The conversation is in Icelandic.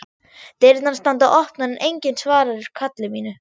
Dyrnar standa opnar en enginn svarar kalli mínu.